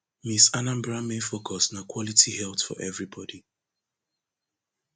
miss anambra main focus na quality health for everybody